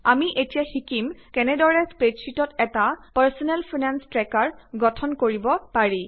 আমি এতিয়া শিকিম কেনেদৰে স্প্ৰেডশ্বিটত এটা পাৰ্চনেল ফাইনেঞ্চ ট্ৰেকাৰ গঠন কৰিব পাৰি